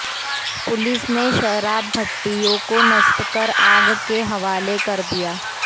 police ने शराब भटिठयों को नष्ट कर आग के हवाले कर दिया